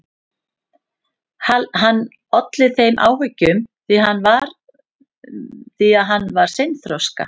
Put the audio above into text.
Hann olli þeim áhyggjum því að hann var seinþroska.